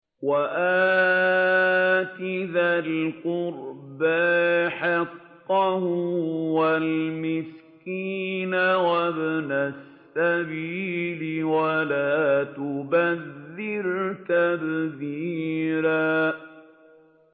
وَآتِ ذَا الْقُرْبَىٰ حَقَّهُ وَالْمِسْكِينَ وَابْنَ السَّبِيلِ وَلَا تُبَذِّرْ تَبْذِيرًا